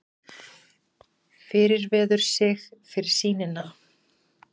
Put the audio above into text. Fyrirverður sig fyrir sýnina.